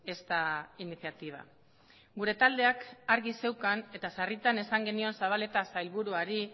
esta iniciativa gure taldeak argi zeukan eta sarritan esan genion zabaleta sailburuari